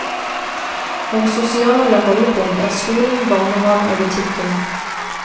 Våre sosiale holdepunkt er skolen, barnehaven og butikken.